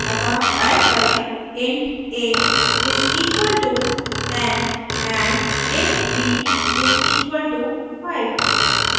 अतः type करें int a is equalto 10 and int b is equalto 5